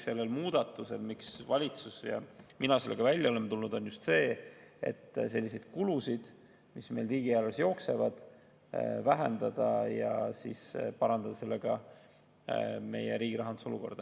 Selle muudatuse eesmärk, miks valitsus ja mina sellega välja oleme tulnud, on just see, et selliseid kulusid, mis meil riigieelarves jooksevad, vähendada, et parandada meie riigi rahanduse olukorda.